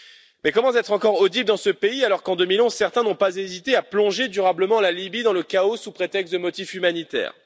Mais comment être encore audibles dans ce pays, alors qu'en 2011, certains n'ont pas hésité à plonger durablement la Libye dans le chaos sous prétexte de motifs humanitaires.